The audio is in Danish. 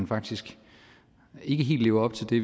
faktisk ikke helt lever op til det